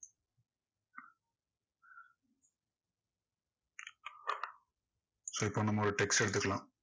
so இப்போ நம்ம ஒரு text அ எடுத்துக்கலாம்.